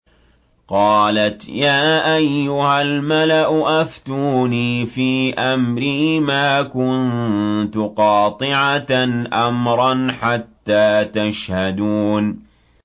قَالَتْ يَا أَيُّهَا الْمَلَأُ أَفْتُونِي فِي أَمْرِي مَا كُنتُ قَاطِعَةً أَمْرًا حَتَّىٰ تَشْهَدُونِ